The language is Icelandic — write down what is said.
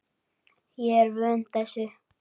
Ég er vön þessu.